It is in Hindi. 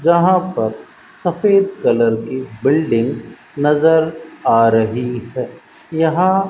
जहां पर सफेद कलर की बिल्डिंग नज़र आ रही है यहां --